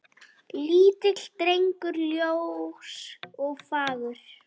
Lítill drengur ljós og fagur.